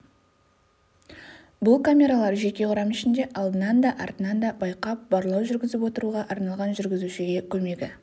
бұл камералар жеке құрам ішінде алдынан да артынан да байқап барлау жүргізіп отыруға арналған жүргізушіге көмегі